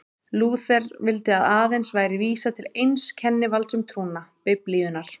Lúther vildi að aðeins væri vísað til eins kennivalds um trúna, Biblíunnar.